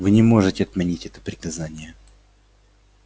вы не можете отменить это приказание